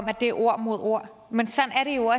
at det er ord mod ord men sådan er det jo